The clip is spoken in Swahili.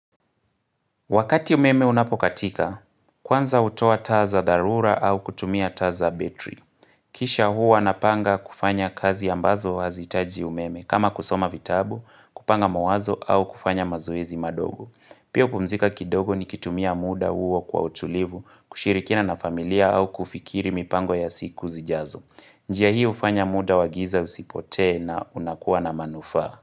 Wakati umeme unapokatika, kwanza hutoa taa za dharura au kutumia taa za betri. Kisha huwa napanga kufanya kazi ambazo hazihitaji umeme, kama kusoma vitabu, kupanga mawazo au kufanya mazoezi madogo. Pia hupumzika kidogo nikitumia muda huo kwa utulivu, kushirikina na familia au kufikiri mipango ya siku zijazo. Njia hii hufanya muda wa giza usipotee na unakuwa na manufaa.